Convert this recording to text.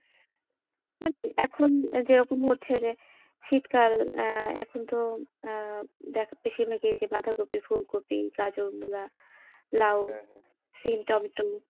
এখন যেমন যেরকম হচ্ছে যে শীতকাল আহ এখন তো আহ দে, বেশির ভাগই এই যে বাঁধাকপি, ফুলকপ, গাজর, মুলা, লাউ সিম টমেটো,